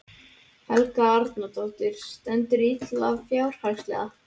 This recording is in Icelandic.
Helga Arnardóttir: Stendurðu illa fjárhagslega?